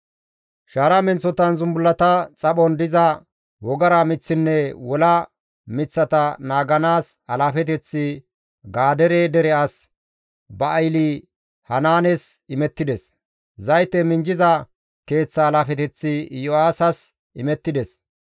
Shaara menththotan zumbullata xaphon diza wogara miththinne wola miththata naaganaas alaafeteththi Gadeere dere as Ba7aali-Hanaanes imettides; zayte minjjiza keeththa alaafeteththi Iyo7aasas imettides.